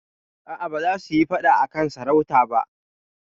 A'a, ba za su yi faɗa a kan sarauta ba.